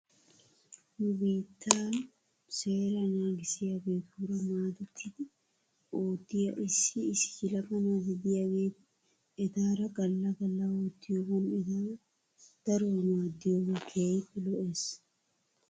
Nu biittan seeraa naagissiyaageetuura maadettidi oottiyaa issi issi yelaga naati de'iyaageeti etaara galla galla oottiyoogan eta daruwaa maaddiyoogee keehippe lo'es.